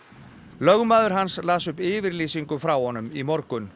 lögmaður hans las upp yfirlýsingu frá honum í morgun